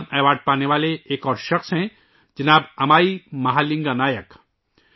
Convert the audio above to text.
Padma award حاصل کرنے والے ایک اور شخص جناب امائی مہا لینگا نائک ہیں